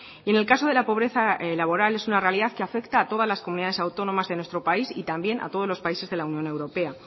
y en el caso de la pobreza laboral es una realidad que afecta a todas las comunidades autónomas de nuestro país y también a todos los países de la unión europea